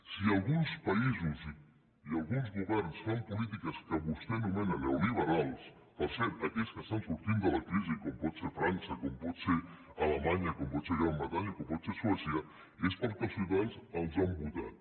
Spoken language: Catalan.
si alguns països i alguns governs fan polítiques que vostè anomena neoliberals per cert aquells que estan sortint de la crisi com pot ser frança com pot ser alemanya com pot ser la gran bretanya com pot ser suècia és perquè els ciutadans els han votat